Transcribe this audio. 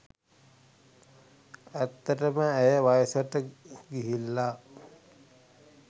ඇත්තටම ඇය වයසට ගිහිල්ල